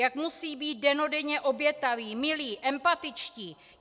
Jak musí být dennodenně obětaví, milí, empatičtí?